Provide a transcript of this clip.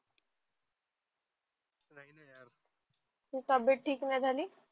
तब्बेत ठीक नाही झाली